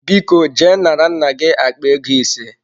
Biko je nara nna gi akpa ego ise.